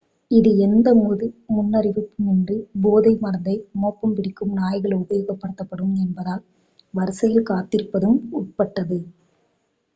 இது எந்த முன்னறிவிப்புமின்றி போதை மருந்தை மோப்பம் பிடிக்கும் நாய்கள் உபயோகப்படுத்தப்படும் என்பதால் வரிசையில் காத்திருப்பதும் உட்பட்டது